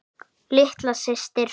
Litla systir.